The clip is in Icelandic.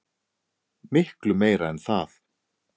Miklu meira en það.